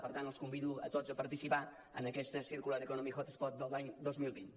per tant els convido a tots a participar en aquesta circular economy hotspot de l’any dos mil vint